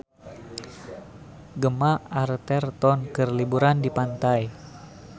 Gemma Arterton keur liburan di pantai